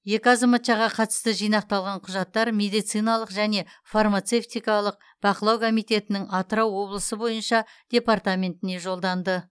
екі азаматшаға қатысты жинақталған құжаттар медициналық және фармацевтикалық бақылау комитетінің атырау облысы бойынша департаментіне жолданды